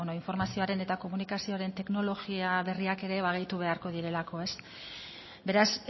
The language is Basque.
informazioaren eta komunikazioaren teknologia berriak ere gehitu beharko direlako beraz